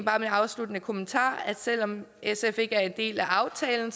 afsluttende kommentar er at selv om sf ikke er en del af aftalen